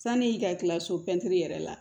Sani i ka kila so pɛntiri yɛrɛ la